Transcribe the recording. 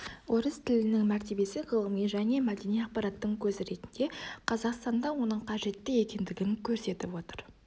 орыс тілінің мәртебесі ғылыми және мәдени ақпараттың көзі ретінде қазақстанда оның қажетті екендігін көрсетіп отыр